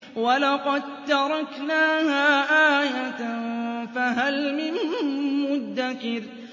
وَلَقَد تَّرَكْنَاهَا آيَةً فَهَلْ مِن مُّدَّكِرٍ